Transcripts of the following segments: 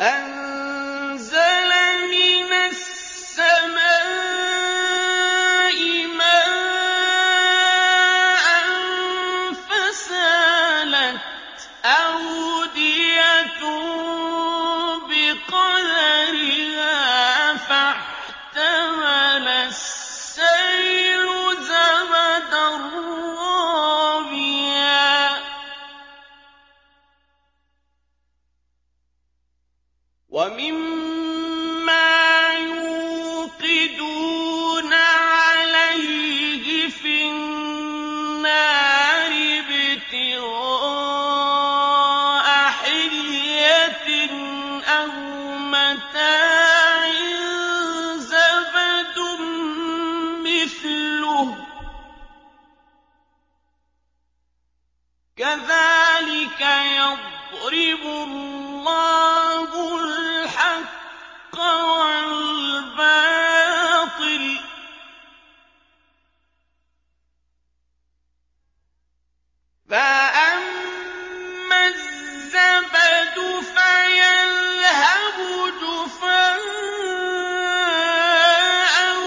أَنزَلَ مِنَ السَّمَاءِ مَاءً فَسَالَتْ أَوْدِيَةٌ بِقَدَرِهَا فَاحْتَمَلَ السَّيْلُ زَبَدًا رَّابِيًا ۚ وَمِمَّا يُوقِدُونَ عَلَيْهِ فِي النَّارِ ابْتِغَاءَ حِلْيَةٍ أَوْ مَتَاعٍ زَبَدٌ مِّثْلُهُ ۚ كَذَٰلِكَ يَضْرِبُ اللَّهُ الْحَقَّ وَالْبَاطِلَ ۚ فَأَمَّا الزَّبَدُ فَيَذْهَبُ جُفَاءً ۖ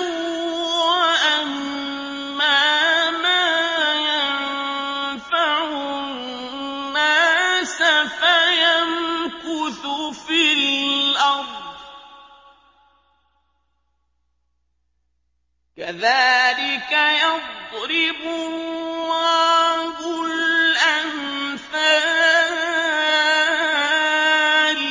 وَأَمَّا مَا يَنفَعُ النَّاسَ فَيَمْكُثُ فِي الْأَرْضِ ۚ كَذَٰلِكَ يَضْرِبُ اللَّهُ الْأَمْثَالَ